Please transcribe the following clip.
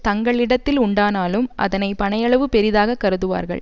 தங்களிடத்தில் உண்டானாலும் அதனை பனையளவு பெரிதாக கருதுவார்கள்